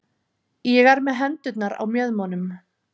Ég er með hendurnar á mjöðmunum.